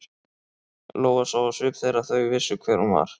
Lóa sá á svip þeirra að þau vissu hver hún var.